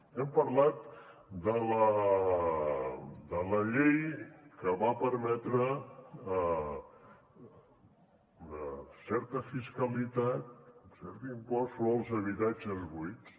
hem parlat de la llei que va permetre una certa fiscalitat un cert impost sobre els habitatges buits